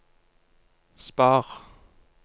spar